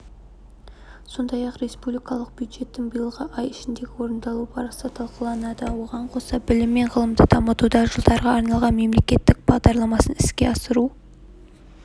сондай-ақ республикалық бюджеттің биылғы ай ішіндегі орындалу барысы талқыланады оған қоса білім мен ғылымды дамытудың жылдарға арналған мемлекеттік бағдарламасын іске асыру